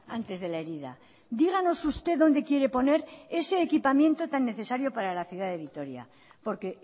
antes de la herida díganos usted dónde quiere poner ese equipamiento tan necesario para la ciudad de vitoria porque